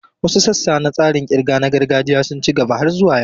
Wasu sassa na tsarin ƙirga na gargajiya sun ci gaba har zuwa yau.